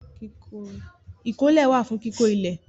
Ìkọ́lé wà fún kíkó ilẹ̀.